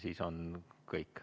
Siis on kõik.